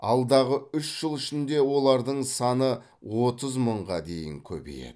алдағы үш жыл ішінде олардың саны отыз мыңға дейін көбейеді